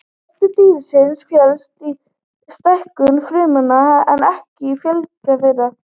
Vöxtur dýrsins felst í stækkun frumnanna en ekki fjölgun þeirra.